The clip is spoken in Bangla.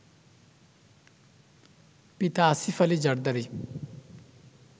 পিতা আসিফ আলি জারদারি